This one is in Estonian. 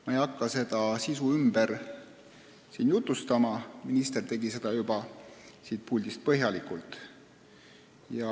Ma ei hakka selle sisu siin ümber jutustama, minister juba tegi seda siin puldis põhjalikult.